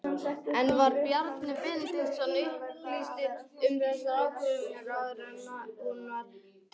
En var Bjarni Benediktsson upplýstur um þessa ákvörðun áður en hún var tilkynnt?